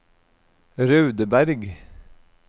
Raudeberg